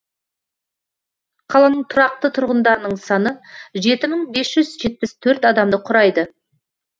қаланың тұрақты тұрғындарының саны жеті мың бес жүз жетпіс төрт адамды құрайды